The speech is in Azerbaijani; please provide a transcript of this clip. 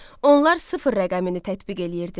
Onlar sıfır rəqəmini tətbiq eləyirdilər.